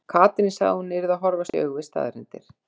Katrín sagði að hún yrði að horfast í augu við staðreyndir.